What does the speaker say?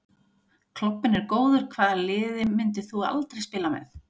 Klobbinn er góður Hvaða liði myndir þú aldrei spila með?